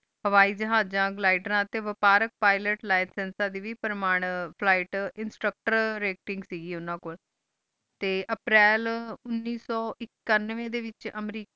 ਹਵਾਈ ਜਹਾਜ਼ਾਂ ਟੀ ਘ੍ਲਾਦੇਯਾਂ ਲੈ ਟੀ ਵਾਫਾਰਿਕ pilot licence instructor rating ਟੀ ਅਪ੍ਰੈਲ ਉਨੀਸ ਸੋ ਏਛੁਨ੍ਵਾਯ ਡੀ ਵਿਚ ਅਮਰੀਕੀ